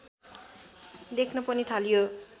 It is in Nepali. लेख्न पनि थालियो